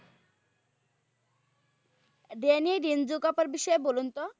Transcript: Danny ডিনজুকাকার বিষয়ে বলুন তো?